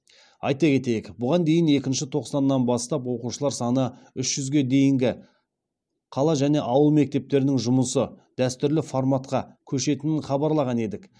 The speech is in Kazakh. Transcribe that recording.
айта кетейік бұған дейін екінші тоқсаннан бастап оқушылар саны үш жүзге дейінгі қала және ауыл мектептерінің жұмысы дәстүрлі форматқа көшетінін хабарлаған едік